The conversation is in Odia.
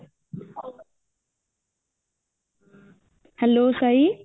hello ସାଇ